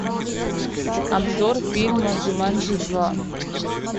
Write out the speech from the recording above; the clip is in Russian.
обзор фильма джуманджи два